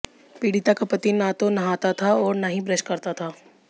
पीड़िता का पति न तो नहाता था और न ही ब्रश करता था